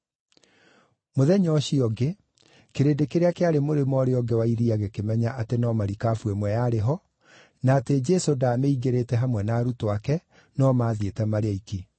Mũthenya ũcio ũngĩ, kĩrĩndĩ kĩrĩa kĩarĩ mũrĩmo ũũrĩa ũngĩ wa iria gĩkĩmenya atĩ no marikabu ĩmwe yarĩ ho, na atĩ Jesũ ndaamĩingĩrĩte hamwe na arutwo ake no maathiĩte marĩ oiki.